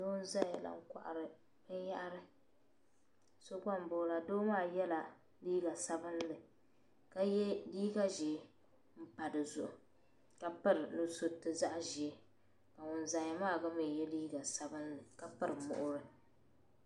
Doo. n zaya la. nkohiri bin yahiri. so gba. ndoyala. doo maa. yala liiga. sabinli. ka ye. liiga zee. n pa dizuɣu kapiri nusuti. zaɣ' zee ka ŋun zaya maa gba ye liiga sabinli. kapiri muɣiri.